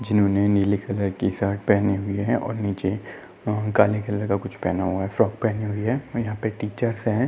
जिन्होंने नीले कलर की शर्ट पहनी हुई है और नीचे काले कलर का कुछ पहना हुआ है फ्रॉक पहनी हुई है और यहाँ पर टीचर्स हैं।